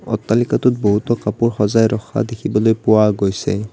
অট্টালিকাটোত বহুতো কাপোৰ সজাই ৰখা দেখিবলৈ পোৱা গৈছে।